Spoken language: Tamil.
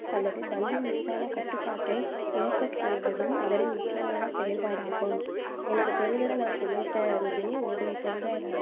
அல்லது பந்து மீதான கட்டுப்பாடை இழக்கச்செய்வதும் அவரின் முக்கியமான செயற்பாடாகும் எனக்கு தெரிஞ்சதை நான் சொல்லிட்டேன் ரூபினி உங்களுக்கு தெரிஞ்சா எதாவது